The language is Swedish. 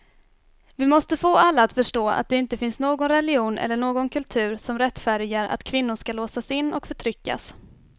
Vi måste få alla att förstå att det inte finns någon religion eller någon kultur som rättfärdigar att kvinnor ska låsas in och förtryckas.